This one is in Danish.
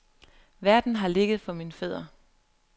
Verden har ligget for mine fødder.